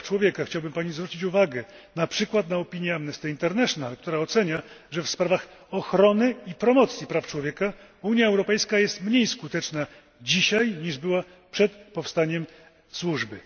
Praw Człowieka chciałbym zwrócić Pani uwagę, na przykład, na opinię Amnesty International, która ocenia, że w sprawach ochrony i promocji praw człowieka Unia Europejska jest mniej skuteczna dzisiaj, niż była przed powstaniem Służby.